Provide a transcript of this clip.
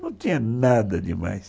Não tinha nada demais.